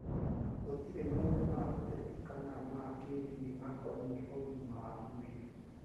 Gũtirĩ maũndũ ma ũteti kana ma kĩĩndini makoniĩ ũgima wa mwĩrĩ.